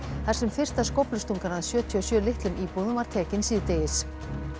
þar sem fyrsta skóflustungan að sjötíu og sjö litlum íbúðum var tekin síðdegis